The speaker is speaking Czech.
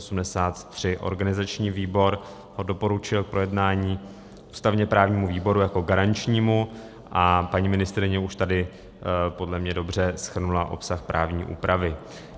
Organizační výbor ho doporučil k projednání ústavně-právnímu výboru jako garančnímu a paní ministryně už tady podle mě dobře shrnula obsah právní úpravy.